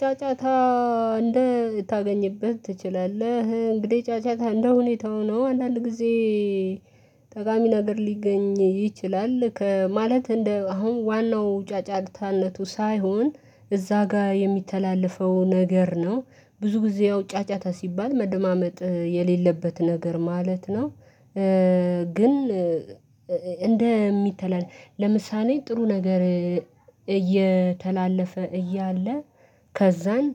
ጫጫታ እንዳታገኝበት ትችላለህ እንግዲህ ጫጫታ እንደሁኔታው ነው አንዳንድ ጊዜ ጠቃሚ ነገር ሊገኝ ይችላል ማለት እንደ አሁን ዋናው ጫጫታነቱ ሳይሆን እዛ ጋር የሚተላለፈው ነገር ነው። ብዙ ጊዜ ያው ጫጫታ ሲባል መደማመጥ የሌለበት ነገር ማለት ነው። ግን እንደሚተላለፍ ለምሳሌ ጥሩ ነገር እየተላለፈ እያለ ከዛን